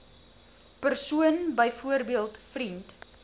persoon byvoorbeeld vriend